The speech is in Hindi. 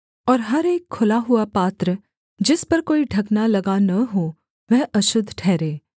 और हर एक खुला हुआ पात्र जिस पर कोई ढकना लगा न हो वह अशुद्ध ठहरे